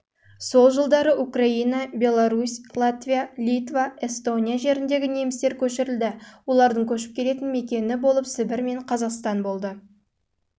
жылдары украина беларусь латвия литва эстония жеріндегі немістер көшірілді олардың көшіп келетін мекені болып сібір мен